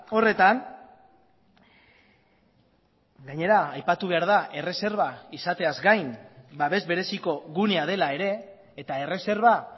horretan gainera aipatu behar da erreserba izateaz gain babes bereziko gunea dela ere eta erreserba